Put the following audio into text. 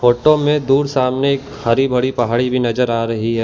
Photo में दूर सामने एक हरी भरी पहाड़ी भीं नजर आ रहीं हैं।